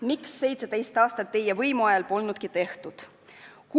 Miks 17 aasta jooksul, kui teie võimul olite, ei tehtud?